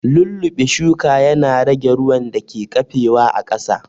Lulluɓe shuka ya na rage ruwan da ke ƙafe wa a ƙasa